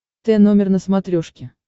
т номер на смотрешке